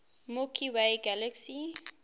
milky way galaxy